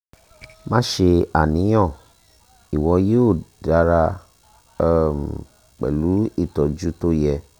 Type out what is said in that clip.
má ṣe àníyàn ìwọ yóò dára um pẹ̀lú ìtọ́jú tó yẹ